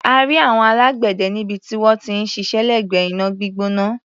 A rí àwọn alágbẹ̀dẹ níbi tí wọ́n ti ń ṣiṣẹ́ lẹ́gbẹ̀ẹ́ iná gbígbóná.